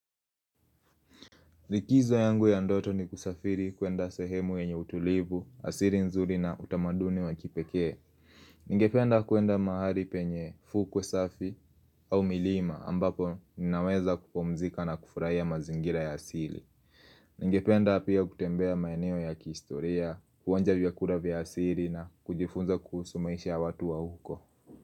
Likizo yangu ya ndoto ni kusafiri kuenda sehemu yenye utulivu, asili nzuri na utamaduni wa kipekee. Ningependa kuenda mahali penye fukwe safi au milima ambapo ninaweza kupumzika na kufurahia mazingira ya siri. Ningependa pia kutembea maeneo ya kihistoria, kuonja vyakula vya asili na kujifunza kuhusu maisha ya watu wa huko.